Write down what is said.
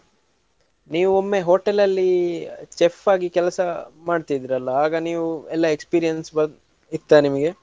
ನೀವೊಮ್ಮೆ hotel ಅಲ್ಲಿ chef ಆಗಿ ಕೆಲಸ ಮಾಡ್ತಿದ್ರಲ್ಲ ಆಗ ನೀವು ಎಲ್ಲ experience ಇತ್ತ ನಿಮ್ಗೆ?